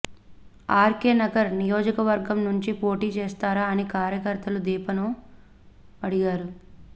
are K Nagar నియోజక వర్గం నుంచి పోటీ చేస్తారా అని కార్యకర్తలు దీపాను అడిగారు